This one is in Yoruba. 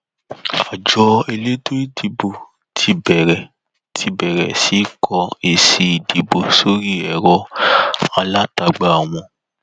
àjọ elétò ìdòbò ti bẹrẹ ti bẹrẹ sí í kó èsì ìdìbò sórí ẹrọ alátagbà wọn